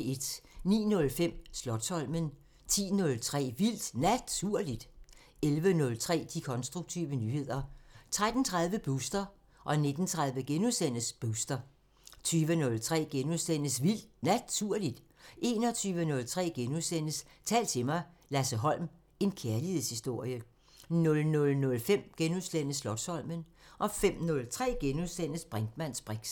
09:05: Slotsholmen 10:03: Vildt Naturligt 11:03: De konstruktive nyheder 13:30: Booster 19:30: Booster * 20:03: Vildt Naturligt * 21:03: Tal til mig – Lasse Holm: en kærlighedshistorie * 00:05: Slotsholmen * 05:03: Brinkmanns briks *